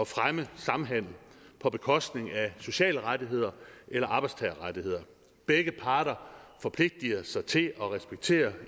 fremme samhandel på bekostning af sociale rettigheder eller arbejdstagerrettigheder begge parter forpligter sig til at respektere